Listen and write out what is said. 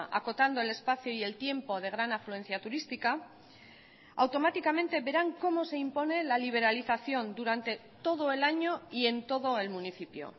acotando el espacio y el tiempo de gran afluencia turística automáticamente verán cómo se impone la liberalización durante todo el año y en todo el municipio